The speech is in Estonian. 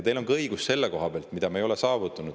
Teil on õigus ka selle koha pealt, mida me ei ole saavutanud.